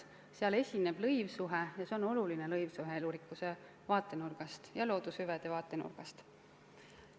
Sel juhul esineb lõivsuhe ja see on oluline lõivsuhe elurikkuse vaatenurgast ja loodushüvede vaatenurgast.